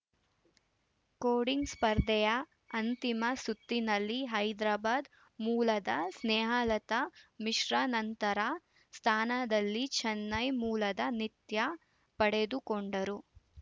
coding ಸ್ಪರ್ಧೆಯ ಅಂತಿಮ ಸುತ್ತಿನಲ್ಲಿ ಹೈದ್ರಾಬಾದ್‌ ಮೂಲದ ಸ್ನೇಹಲತಾ ಮಿಶ್ರ ನಂತರ ಸ್ಥಾನದಲ್ಲಿ ಚನ್ನೈ ಮೂಲದ ನಿತ್ಯ ಪಡೆದುಕೊಂಡರು